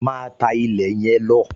Máa tá ilẹ̀ yẹn lọ!